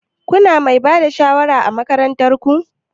Kuna Mai Bada shawara ã makarantan ku?